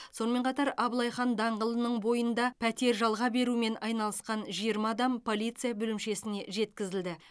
сонымен қатар абылай хан даңғылының бойында пәтер жалға берумен айналысқан жиырма адам полиция бөлімшесіне жеткізілді